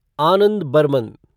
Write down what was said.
Anand Burman